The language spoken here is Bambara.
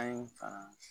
An ye fan